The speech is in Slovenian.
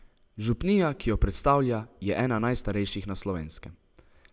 Župnija, ki jo predstavlja, je ena najstarejših na Slovenskem.